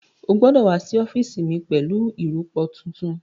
Ó gbọ́dọ̀ wá sí ọ́fíìsì mi pẹ̀lú ìrọpo tuntun